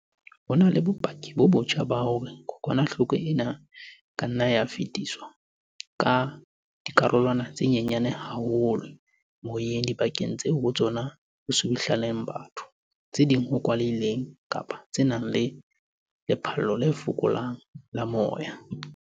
Jwale ho na le bopaki bo botjha ba hore kokwanahloko ena e ka nna ya fetiswa ka dikarolwana tse nyenyane haholo tse moyeng dibakeng tseo ho tsona ho subuhlellaneng batho, tse kwalehileng kapa tse nang le lephallo le fokolang la moya.